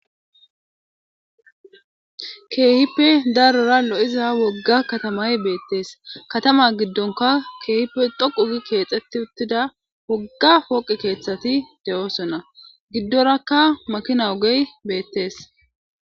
keehippe darora lo7iza wogga katamay beettees katama giddonka keehipe dhoqu gi keexetti uttida wogga pooqi keeththati de7oosonna giddorakka makina ogey beettees